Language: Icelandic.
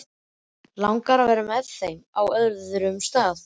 Langar að vera með þeim á öðrum stað.